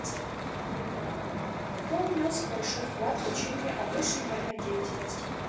кто внес большой вклад в учение о высшей нервной деятельности